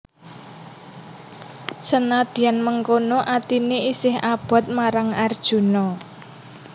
Senadyan mengkono atiné isih abot marang Arjuna